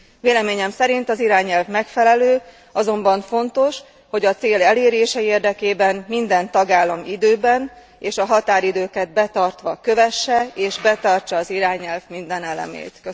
Véleményem szerint az irányelv megfelelő, azonban fontos, hogy a cél elérése érdekében minden tagállam időben és a határidőket betartva kövesse és betartsa az irányelv minden elemét.